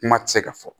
Kuma tɛ se ka fɔ